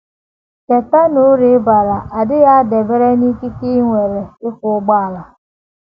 Cheta na uru ị bara adịghị adabere n’ikike i nwere ịkwọ ụgbọala.